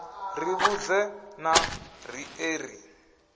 ri vhudze na riṋe ri